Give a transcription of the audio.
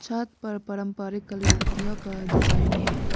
छत पर पारंपरिक कलीकृतियों का डिजाइन है।